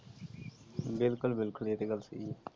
ਬਿਲਕੁਲ ਬਿਲਕੁਲ ਇਹ ਤੇ ਗੱਲ ਸਹੀ ਆ।